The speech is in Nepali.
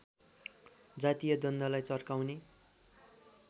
जातीय द्वन्द्वलाई चर्काउने